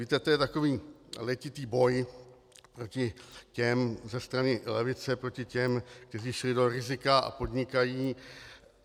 Víte, to je takový letitý boj proti těm - ze strany levice - proti těm, kteří šli do rizika a podnikají.